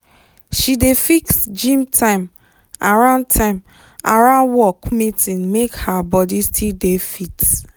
she dey fix gym time around time around work meeting make her body still dey fit.